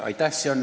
Aitäh!